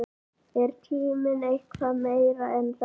Er tíminn eitthvað meira en þetta?